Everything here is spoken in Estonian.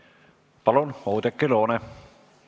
Palun, Oudekki Loone!